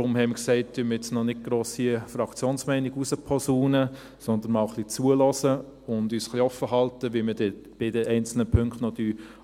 Deshalb haben wir gesagt, dass wir noch nicht gross eine Fraktionsmeinung herausposaunen, sondern einmal ein wenig zuhören und offen lassen, wie wir dann bei den einzelnen Punkten noch